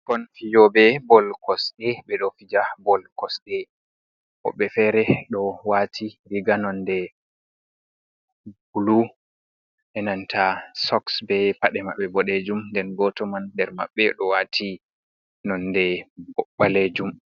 Ɓukkon fijoɓe bol kosɗe ɓe ɗo fija bol kosɗe woɓbe fere ɗo wati riga nonde bulu enanta soks, be paɗe maɓɓe boɗejuum nden goto nder maɓɓe do wati nonde ɓalejuum.